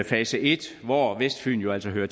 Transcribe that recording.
fase i hvor vestfyn jo altså hører